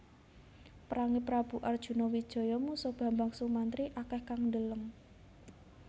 Perange Prabu Arjuna Wijaya musuh Bambang Sumantri akeh kang ndeleng